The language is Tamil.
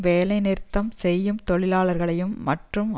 வேலை நிறுத்தம் செய்யும் தொழிலாளர்களையும் மற்றும்